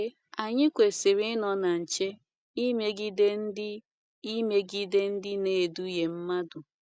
Eee, anyi kwesiri inọ na nche imegide ndi imegide ndi na edughe madụ